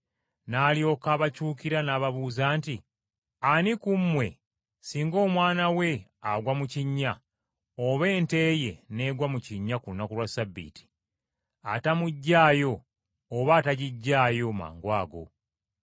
N’alyoka abakyukira n’ababuuza nti, “Ani ku mmwe singa omwana we agwa mu kinnya oba ente ye n’egwa mu kinnya ku lunaku lwa Ssabbiiti, atamuggyayo oba atagiggyaayo mangwago?”